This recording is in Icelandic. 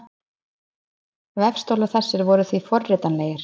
Vefstólar þessi voru því forritanlegir.